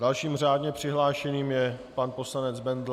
Dalším řádně přihlášeným je pan poslanec Bendl.